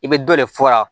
I bɛ dɔ de fɔ a la